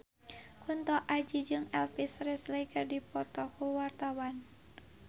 Kunto Aji jeung Elvis Presley keur dipoto ku wartawan